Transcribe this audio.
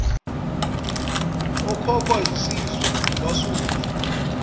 ekhokhwa yisizwe kwasuswa